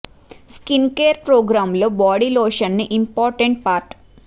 skin care programme లో body lotion ని important part